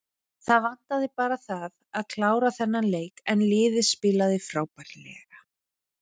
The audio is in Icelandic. Það vantaði bara það að klára þennan leik en liðið spilaði frábærlega.